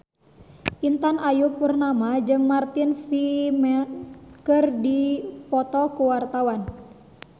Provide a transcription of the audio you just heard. Intan Ayu Purnama jeung Martin Freeman keur dipoto ku wartawan